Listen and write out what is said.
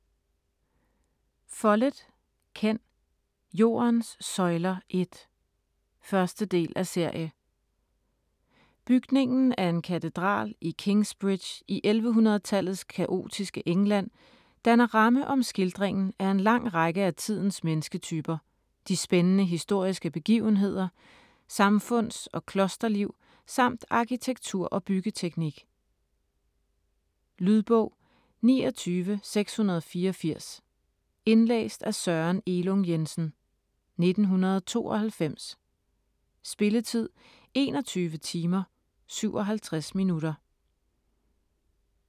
Follett, Ken: Jordens søjler 1 1. del af serie. Bygningen af en katedral i Kingsbridge i 1100-tallets kaotiske England danner ramme om skildringen af en lang række af tidens mennesketyper, de spændende historiske begivenheder, samfunds- og klosterliv samt arkitektur og byggeteknik. Lydbog 29684 Indlæst af Søren Elung Jensen, 1992. Spilletid: 21 timer, 57 minutter.